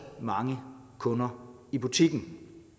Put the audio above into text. mange kunder i butikken